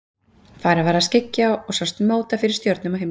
Farið var að skyggja og sást móta fyrir stjörnum á himni.